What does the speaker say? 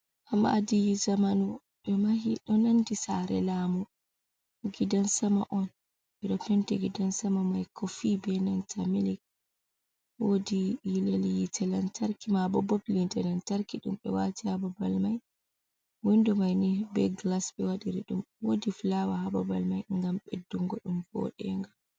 Maadi zamanu ɓe mahi, ɗo nandi saare lamu, gidan sama on. Ɓe ɗo penti gidan sama mai koofi be nanta milk. Woodi lilel yiite lantarki maabo, bob yiite lantarki ɗum ɓe waati haa babal mai. Windo mai ni be glas ɓe waɗiri ɗum, woodi flawa haa babal mai ngam ɓeddungo ɗum vooɗennga.